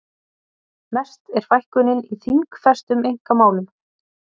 Mest er fækkunin í þingfestum einkamálum